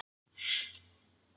spyr hann niðurbrotinn.